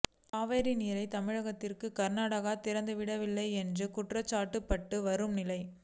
காவிரி நீரை தமிழகத்திற்கு கர்நாடகா திறந்துவிடவில்லை என்று குற்றச்சாட்டப்பட்டு வரும் நிலையில்